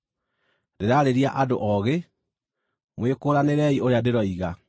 Ndĩraarĩria andũ oogĩ; mwĩkũũranĩrei ũrĩa ndĩroiga.